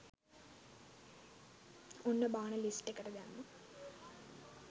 ඔන්න බාන ලිස්ට් එකට දැම්මා